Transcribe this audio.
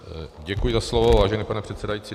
Děkuji za slovo, vážený pane předsedající.